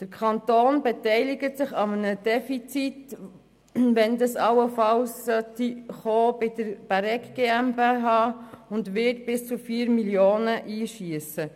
Der Kanton beteiligt sich an einem Defizit, sollte dieses beim Zentrum Bäregg entstehen, und wird bis zu 4 Mio. Franken einschiessen.